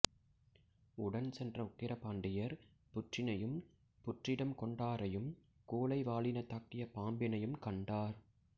உடன் சென்ற உக்கிர பாண்டியர் புற்றினையும் புற்றிடம் கொண்டாரையும் கூழை வாலினதாக்கிய பாம்பினையும் கண்டார்